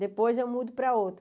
Depois eu mudo para outra.